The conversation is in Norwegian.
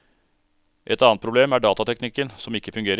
Et annet problem er datateknikken som ikke fungerer.